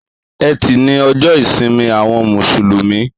Ètí ni òjò ìsín áwòn músúlùmí